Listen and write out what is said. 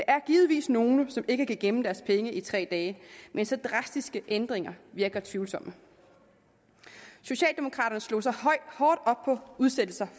er givetvis nogle som ikke kan gemme deres penge i tre dage men så drastiske ændringer virker tvivlsomme socialdemokraterne slog sig hårdt op på udsættelser